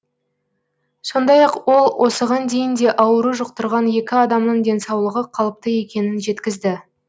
сондай ақ ол осыған дейін де ауру жұқтырған екі адамның денсаулығы қалыпты екенін жеткізді